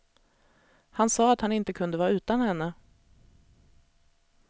Han sa att han inte kunde vara utan henne.